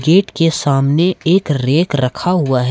Gate के सामने एक रैक रखा हुआ है।